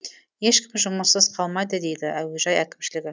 ешкім жұмыссыз қалмайды дейді әуежай әкімшілігі